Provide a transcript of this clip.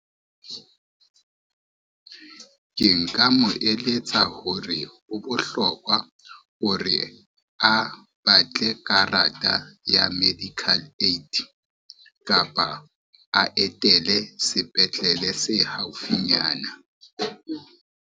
Ke nka mo eletsa hore ho bohlokwa hore, a batle karata ya medical aid kapa a etele sepetlele se haufinyana.